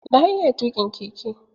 Na iya tuƙin keke.